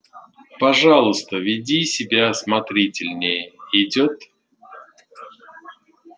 пожалуйста веди себя осмотрительнее идёт